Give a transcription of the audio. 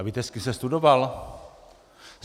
A víte, s kým jsem studoval?